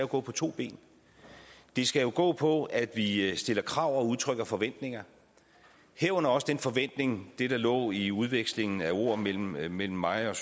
gå på to ben det skal gå på at vi stiller krav og udtrykker forventninger herunder også den forventning det der lå i udvekslingen af ord mellem mig mellem mig og